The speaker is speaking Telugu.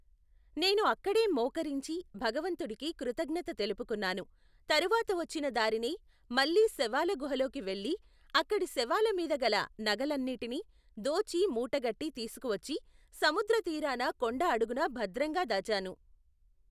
నేను అక్కడే మోకరించి భగవంతుడికి కృతజ్ఞత తెలుపుకున్నాను తరువాత వచ్చిన దారినే మళ్ళీ శవాల గుహలోకి వెళ్ళి అక్కడి శవాల మీద గల నగలన్నీటినీ దోచి మూటగట్టి తీసుకువచ్చి సముద్ర తీరాన కొండ అడుగున భద్రంగా దాచాను.